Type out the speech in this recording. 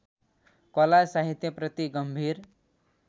कला साहित्यप्रति गम्भीर